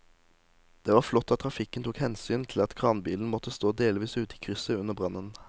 Det var flott at trafikken tok hensyn til at kranbilen måtte stå delvis ute i krysset under brannen.